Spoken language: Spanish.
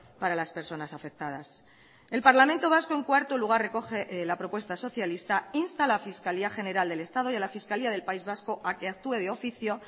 para las personas afectadas el parlamento vasco en cuarto lugar recoge la propuesta socialista insta a la fiscalía general del estado y a la fiscalía del país vasco a que actúe de oficio